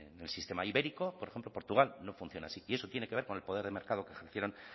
en el sistema ibérico por ejemplo portugal no funciona así y eso tiene que ver con el poder de mercado que ejercen